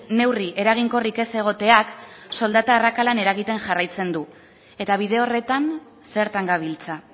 neurri eraginkorrik ez egoteak soldata arrakalan eragiten jarraitzen du eta bide horretan zertan gabiltza